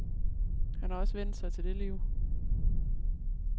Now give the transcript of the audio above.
Han har også vænnet sig til det liv.